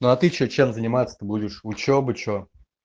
ну а ты что чем заниматься то будешь учёба что